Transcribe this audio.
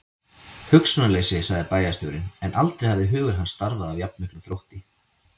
Hugsunarleysi sagði bæjarstjórinn, en aldrei hafði hugur hans starfað af jafn miklum þrótti.